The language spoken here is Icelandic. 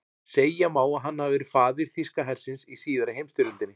Segja má að hann hafi verið faðir þýska hersins í síðari heimsstyrjöldinni.